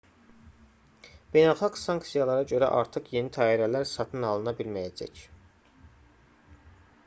beynəlxalq sanksiyalara görə artıq yeni təyyarələr satın alına bilməyəcək